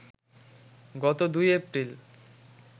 গত ২ এপ্রিল